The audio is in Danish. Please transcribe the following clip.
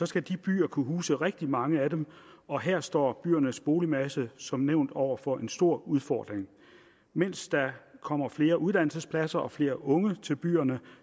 skal disse byer kunne huse rigtig mange af dem og her står byernes boligmasse som nævnt over for en stor udfordring mens der kommer flere uddannelsespladser og flere unge til byerne